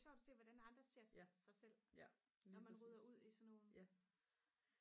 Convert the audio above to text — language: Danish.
sjovt at se hvordan andre ser sig selv når man rydder ud i sådan nogle